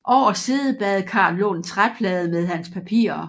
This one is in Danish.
Over siddebadekarret lå en træplade med hans papirer